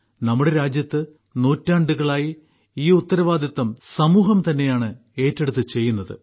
നമ്മുടെ രാജ്യത്ത് നൂറ്റാണ്ടുകളായി ഈ ഉത്തരവാദിത്തം സമൂഹം തന്നെയാണ് ഏറ്റെടുത്ത് ചെയ്യുന്നത്